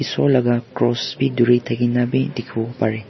esor laga cross b duri thaki na b dikhi bo pare.